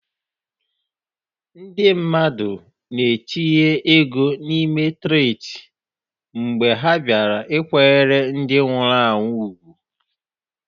Ndị mmadụ na-etinye ego n'ime traktị mgbe ha bịara ịkwanyere ndị nwụrụ anwụ ùgwù.